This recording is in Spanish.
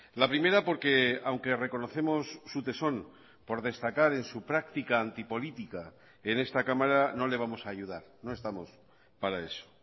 la primera porque aunque reconocemos su tesón por destacar en su práctica antipolítica en esta cámara no le vamos a ayudar no estamos para eso